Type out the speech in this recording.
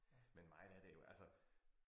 Men mig der det jo altså